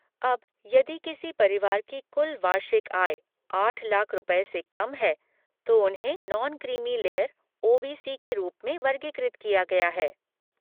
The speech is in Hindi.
अब, यदि किसी परिवार की कुल वार्षिक आय आठ लाख रुपए से कम है तो उन्हें non creamy layer O B C के रूप में वर्गीकृत किया गया है